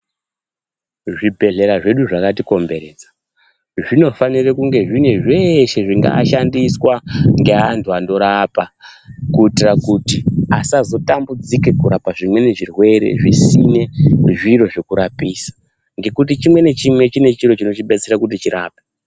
Zvibhehlera zvedu zvakatikomberedza zvinofanira kunge zvine zveshe zvingashandiswa ngeantu anorapa kuitita kuti asazotambudzika pezvimweni zvirwere zvisina zviro zvekurapisa ngekuti chikwe nachimwe chine chiro chinochi detsera kuti chirapwe